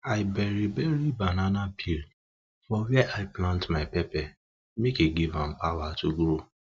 i bury bury banana peel for where i plant my pepper make e give am power to grow